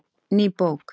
Ný bók